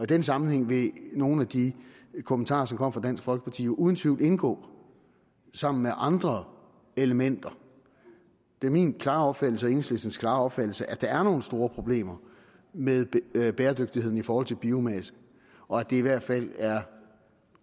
den sammenhæng vil nogle af de kommentarer som kom fra dansk folkeparti jo uden tvivl indgå sammen med andre elementer det er min klare opfattelse og enhedslistens klare opfattelse at der er nogle store problemer med bæredygtigheden i forhold til biomasse og at det i hvert fald er